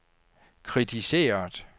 kritiseret